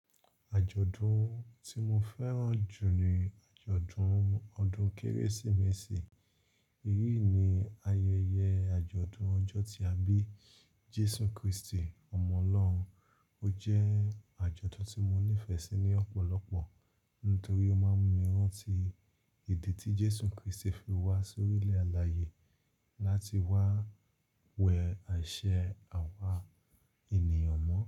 Àjọ̀dún tí mo fẹ́ràn jù ni àjọ̀dún ọdún Kérésìmesì. Èyí ni ayẹyẹ àjọ̀dún ọjọ́ tí a bí Jésù Kristi, Ọmọ Ọlọ́run. Ó jẹ́ àjọ̀dún tí mo nífẹ̀ẹ́ sí ní ọ̀pọ̀lọpọ̀ nítorí ó máa ń mú mi rántí ìdí tí Jésù Kristi fi wá sórí ilẹ̀ alààyè láti wá wẹ ẹṣẹ àwa ènìyàn mọ́.